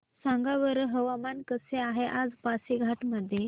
सांगा बरं हवामान कसे आहे आज पासीघाट मध्ये